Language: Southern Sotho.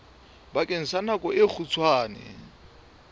bakeng sa nako e kgutshwane